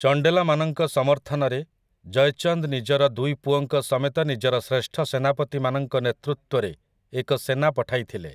ଚଣ୍ଡେଲାମାନଙ୍କ ସମର୍ଥନରେ, ଜୟଚନ୍ଦ୍ ନିଜର ଦୁଇ ପୁଅଙ୍କ ସମେତ ନିଜର ଶ୍ରେଷ୍ଠ ସେନାପତିମାନଙ୍କ ନେତୃତ୍ୱରେ ଏକ ସେନା ପଠାଇଥିଲେ ।